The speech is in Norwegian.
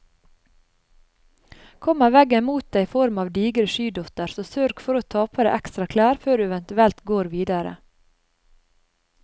Kommer veggen mot deg i form av digre skydotter, så sørg for å ta på deg ekstra klær før du eventuelt går videre.